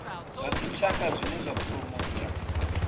zwa dzitshaka zwine zwa phuromotha